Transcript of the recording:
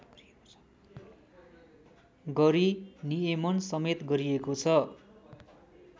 गरी नियमनसमेत गरिएको छ